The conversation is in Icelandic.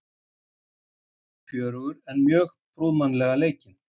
Leikurinn var fjörugur en mjög prúðmannlega leikinn.